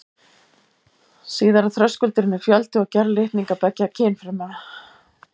Síðari þröskuldurinn er fjöldi og gerð litninga beggja kynfruma.